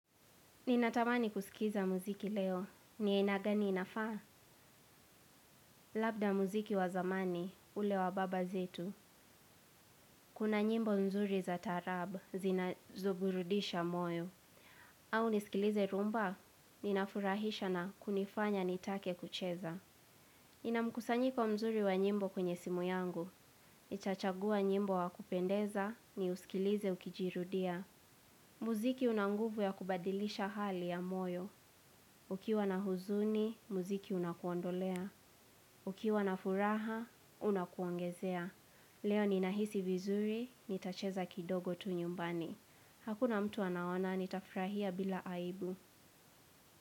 Ninatamani kusikiza muziki leo. Ni aina gani inafaa? Labda muziki wa zamani, ule wa baba zetu. Kuna nyimbo nzuri za taarab, zinazo burudisha moyo. Au niskilize rumba, ninafurahisha na kunifanya nitake kucheza. Ina mkusanyiko mzuri wa nyimbo kwenye simu yangu. Chachagua nyimbo wa kupendeza ni uskilize ukijirudia. Muziki unanguvu ya kubadilisha hali ya moyo. Ukiwa na huzuni, muziki unakuondolea. Ukiwa na furaha, unakuongezea. Leo ninahisi vizuri, nitacheza kidogo tu nyumbani. Hakuna mtu anaona, nitafrahia bila aibu.